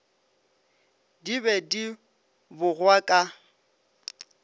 di be di bogwa ka